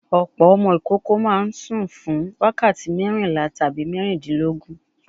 Ọ̀pọ̀ ọmọ ìkókó máa ń sùn fún wákàtí mẹ́rìnlá tabi mẹ́tàdílógún.